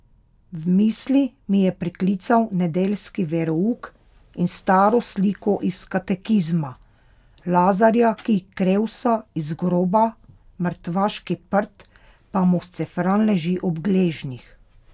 V misli mi je priklical nedeljski verouk in staro sliko iz katekizma, Lazarja, ki krevsa iz groba, mrtvaški prt pa mu scefran leži ob gležnjih.